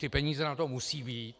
Ty peníze na to musí být.